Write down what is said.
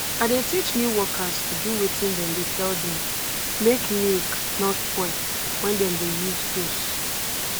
i dey teach new workers to do wetin dem dey tell dem make milk nor spoil when dem dey use hose